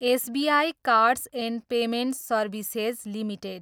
SBI cards and payment services limited